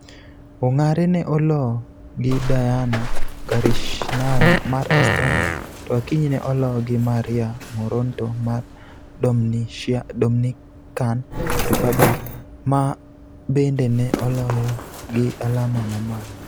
Ongare ne oloo gi Diana Gorishnaya mar Estonia, to Akinyi ne oloo gi Maria Moronto mar Dominican Republic, ma bende ne oloyo gi alama mamalo.